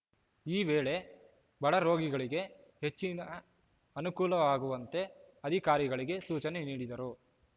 ಈ ವೇಳೆ ಬಡರೋಗಿಗಳಿಗೆ ಹೆಚ್ಚಿನ ಅನುಕೂಲವಾಗುವಂತೆ ಅಧಿಕಾರಿಗಳಿಗೆ ಸೂಚನೆ ನೀಡಿದರು